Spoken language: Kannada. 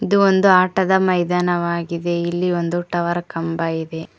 ಇದು ಒಂದು ಆಟದ ಮೈದಾನವಾಗಿದೆ ಇಲ್ಲಿ ಒಂದು ಟವರ್ ಕಂಬ ಇದೆ.